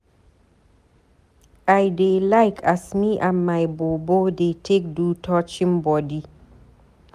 I dey like as me and my bobo dey take do touching bodi.